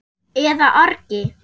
eða orgi.